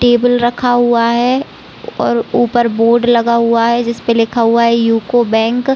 table रखा हुआ है और ऊपर बोर्ड लगा हुआ जिसपे लिखा हुआ है यू.को बैंक --